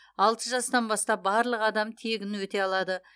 алты жастан бастап барлық адам тегін өте алады